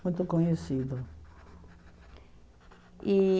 Muito conhecido. E